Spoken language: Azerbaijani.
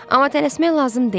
Amma tələsmək lazım deyil.